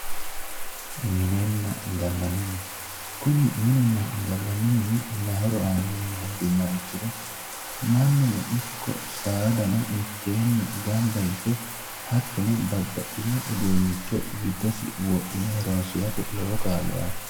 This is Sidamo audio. Minenna gallanni mine, kuni minunna gallanni mini maayi horo aanoho yinne henduummoro mannuno ikko saadano mitteenni gamba yite hattonno babbaxino uduunicho giddosi wodhine horonsirate lowo kaa'lo aano.